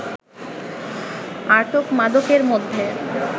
আটক মাদকের মধ্যে